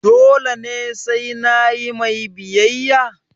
dole ne sai nayi mai biyayya?